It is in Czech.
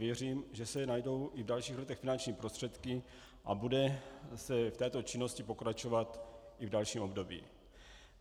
Věřím, že se najdou i v dalších letech finanční prostředky a bude se v této činnosti pokračovat i v dalším období.